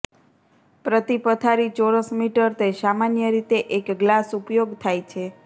પ્રતિ પથારી ચોરસ મીટર તે સામાન્ય રીતે એક ગ્લાસ ઉપયોગ થાય છે